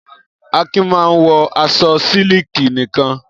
Akin máa ń wọ aṣọ sílíkì nìkan.